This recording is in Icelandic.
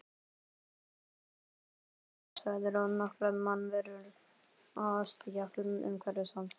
Bíllinn var kyrrstæður og nokkrar mannverur á stjákli umhverfis hann.